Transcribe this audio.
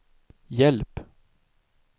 hjälp